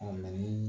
ni